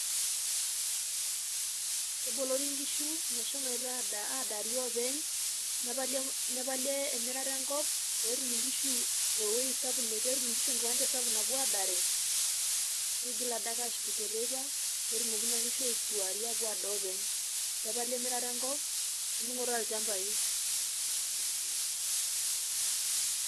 Kebolori nkishu mesho adaa adaari openy nepali nepali emirata enkop petum nkishu ewuei sapuk petum nkishu ekiwanja sapuk napuo adaare ,nigil adake ashukunyie teipa petumoki naa nkishu aisuari apuo adaa openy nepali emirata enkop oendungoto oolchambai .